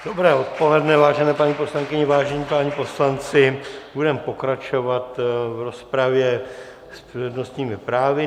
Dobré odpoledne, vážení paní poslankyně, vážení páni poslanci, budeme pokračovat v rozpravě s přednostními právy.